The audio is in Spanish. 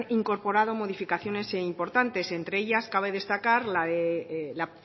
incorporado modificaciones importantes entre ellas cabe destacar la